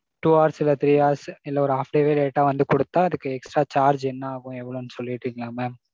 two hours இல்ல three hours இல்ல ஒரு half day late ஆ வந்து குடுத்தா அதுக்கு extra charge என்ன ஆகும் எவ்வளவுன்னு சொல்லிட்டீங்கனா mam.